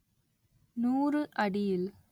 நூறு அடியில்